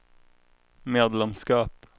medlemskap